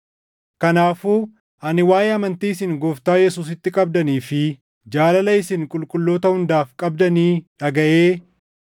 Kanaafuu ani waaʼee amantii isin Gooftaa Yesuusitti qabdanii fi jaalala isin qulqulloota hundaaf qabdanii dhagaʼee